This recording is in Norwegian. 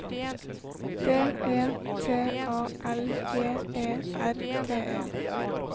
D E T A L J E R T E